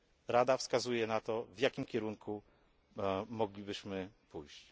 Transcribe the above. Rada wskazuje na to, w jakim kierunku moglibyśmy pójść.